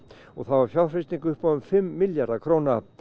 og það var fjárfesting upp á um fimm milljarða króna